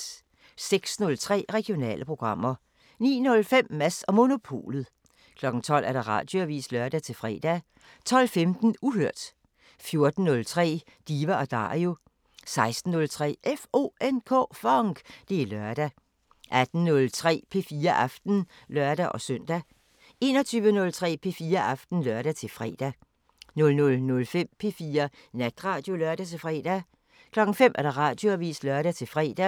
06:03: Regionale programmer 09:05: Mads & Monopolet 12:00: Radioavisen (lør-fre) 12:15: Uhørt 14:03: Diva & Dario 16:03: FONK! Det er lørdag 18:03: P4 Aften (lør-søn) 21:03: P4 Aften (lør-fre) 00:05: P4 Natradio (lør-fre) 05:00: Radioavisen (lør-fre)